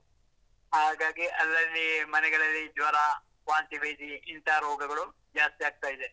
ಹಾಗಾಗಿ ಅಲ್ಲಲ್ಲಿ ಮನೆಗಳಲ್ಲಿ ಜ್ವರ, ವಾಂತಿ ಭೇದಿ, ಇಂತ ರೋಗಗಳು ಜಾಸ್ತಿ ಆಗ್ತಾ ಇದೆ.